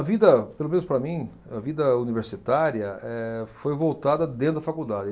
A vida, pelo menos para mim, a vida universitária eh, foi voltada dentro da faculdade.